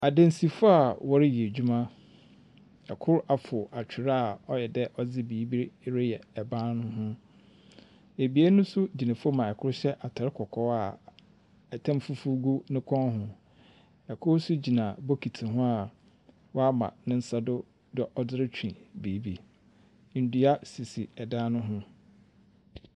Adansifo a wɔreyɛ adwuma. ℇkor afor atwer a ɔyɛ dɛ ɔdze biribi re reyɛ ɛban no ho. abien no nso gyina fam hɔ a kor hyɛ ataar kɔkɔɔ a ɛtam fufu gu ne kɔn ho. ℇkor nso gyina bokiti ho a wama ne nsa do dɛ ɛderetwe biribi.